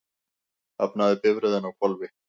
Hafnaði bifreiðin á hvolfi